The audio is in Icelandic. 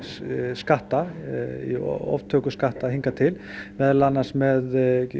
skatta í oftöku skatta hingað til meðal annars með